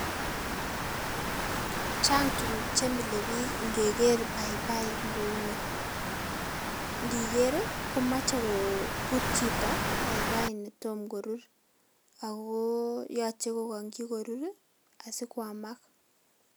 Chang' tuguk chemile biik inkeker paipai kou ni , ndiker ii komoche ko kobut chito paipai netom korur ago kogonyi korur asikwamak.